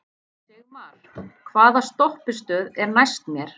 Sigmar, hvaða stoppistöð er næst mér?